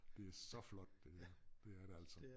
Det så flot det dér det er det altså